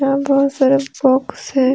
यहां बहुत सारे बॉक्स हैं।